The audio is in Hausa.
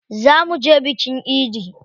Zaa muje bikin idi.